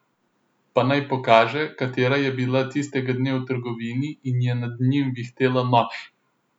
Pa naj pokaže, katera je bila tistega dne v trgovini in je nad njim vihtela nož.